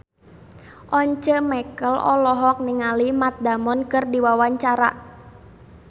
Once Mekel olohok ningali Matt Damon keur diwawancara